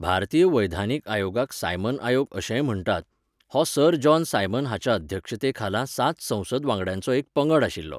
भारतीय वैधानीक आयोगाक सायमन आयोग अशेंय म्हण्टात, हो सर जॉन सायमन हाच्या अध्यक्षतेखाला सात संसद वांगड्यांचो एक पंगड आशिल्लो.